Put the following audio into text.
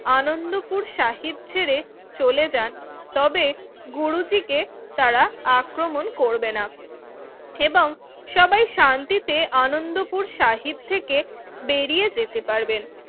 আনন্দপুর সাহিব ছেড়ে চলে যান তবে গুরুজি কে তারা আক্রমণ করবে না এবং সবাই শান্তিতে আনন্দপুর সাহিব থেকে বেরিয়ে যেতে পারবেন